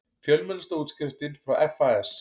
Fjölmennasta útskriftin frá FAS